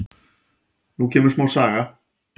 Nú kemur smá saga.